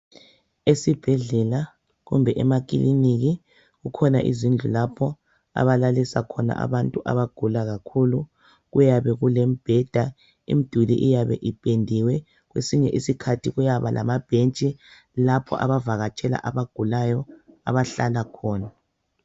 Esibhedlela kumbe emakiliniki kukhona izindlu lapho abalalisa khona abantu abagula kakhulu. Kuyabe kulemibheda, imduli iyabe ipendiwe. Kwesinye isikhathi kuyaba lamabhentshi lapho abavakatshela abagulayo abahlala khona.